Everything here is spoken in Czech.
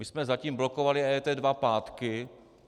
My jsme zatím blokovali EET dva pátky.